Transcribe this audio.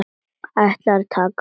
Ætlar að taka á móti.